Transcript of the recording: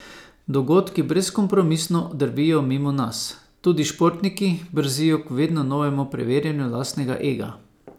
Dogodki brezkompromisno drvijo mimo nas, tudi športniki brzijo k vedno novemu preverjanju lastnega ega.